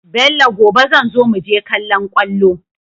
Bello gobe zanzo muje kallon kwallo